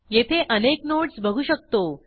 येथे अनेक नोडस बघू शकतो